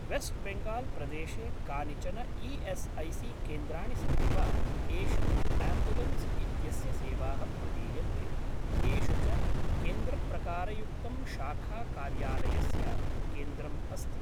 Waste Bengal प्रदेशे कानिचन ई.एस्.ऐ.सी.केन्द्राणि सन्ति वा येषु आम्ब्युलेन्स् इत्यस्य सेवाः प्रदीयन्ते, येषु च केन्द्रप्रकारयुक्तं शाखा कार्यालयस्य केन्द्रम् अस्ति?